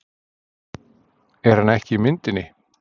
Er hann ekki í myndinni?